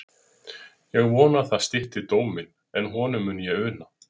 Ég vona að það stytti dóm minn, en honum mun ég una.